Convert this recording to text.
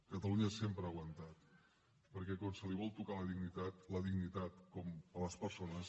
catalunya sempre ha aguantat perquè quan se li vol tocar la dignitat la dignitat a les persones